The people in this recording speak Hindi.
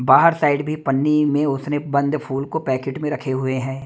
बाहर साइड भी पन्नी में उसने बंद फूल को पैकेट में रखे हुए हैं।